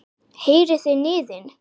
Heyrið þið niðinn?